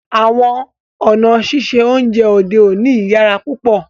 Àwọn ọ̀na sísẹ ọ̀unjẹ òdè ọ̀ní yíyàrá púpọ̀